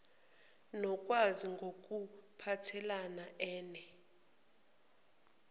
nokungazi ngokuphathel ene